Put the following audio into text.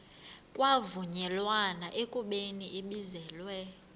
kwavunyelwana ekubeni ibizelwe